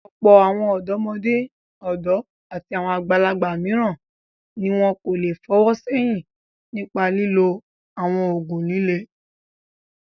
Ọ̀pọ̀ àwọn ọ̀dọ́mọdé, ọ̀dọ́ àti àwọn àgbàlagbà mìíràn ni wọn kò le fọwọ́ sẹ́yìn nípa lílo àwọn òògùn líle.